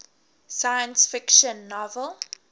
science fiction novel